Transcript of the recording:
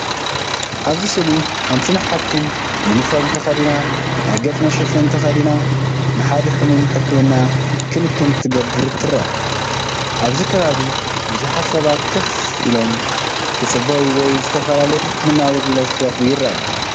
ኣብዚ ስእሊ ሓንቲ ናይ ሓኪም ዩኒፎርም ተኸዲና፡ ናይ ገጽ መሸፈኒ ተኸዲና ንሓደ ሕሙም ሕክምናዊ ክንክን ክትገብር ትርአ። ኣብቲ ከባቢ ብዙሓት ሰባት ኮፍ ኢሎም፡ ክጽበዩ ወይ ዝተፈላለየ ሕክምናዊ ኣገልግሎት ክረኽቡ ይረኣዩ።